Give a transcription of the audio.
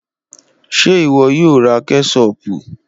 Ṣe iwọ yoo ra kẹṣopu?